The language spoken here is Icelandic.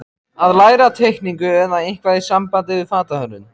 Að læra teikningu eða eitthvað í sambandi við fatahönnun.